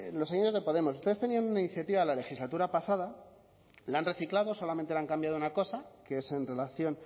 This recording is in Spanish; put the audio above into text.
los de podemos ustedes tenían una iniciativa la legislatura pasada la han reciclado solamente le han cambiado una cosa que es en relación